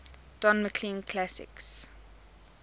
don mclean classics